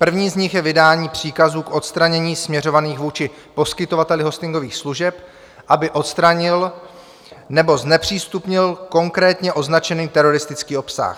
První z nich je vydání příkazů k odstranění, směřovaných vůči poskytovateli hostingových služeb, aby odstranil nebo znepřístupnil konkrétně označený teroristický obsah.